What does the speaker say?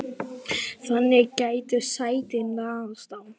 þannig gætu sætin raðast á